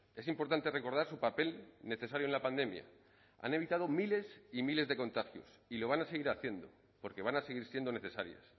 es importante recordar su papel necesario en la pandemia han evitado miles y miles de contagios y lo van a seguir haciendo porque van a seguir siendo necesarias